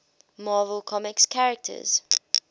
marvel comics characters